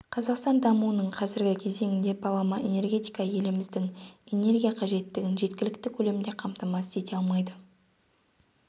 қазақстан дамуының қазіргі кезеңінде балама энергетика еліміздің энергия қажеттігін жеткілікті көлемде қамтамасыз ете алмайды